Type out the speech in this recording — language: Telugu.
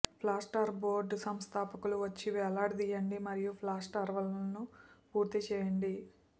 ప్లాస్టార్ బోర్డ్ సంస్థాపకులు వచ్చి వ్రేలాడదీయండి మరియు ప్లాస్టార్వాల్ను పూర్తి చేయండి